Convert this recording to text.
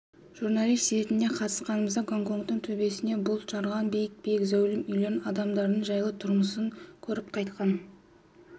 журналист ретінде қатысқанымызда гонконгтың төбесімен бұлт жарған биік-биік зәулім үйлерін адамдарының жайлы тұрмысын көріп қайтқан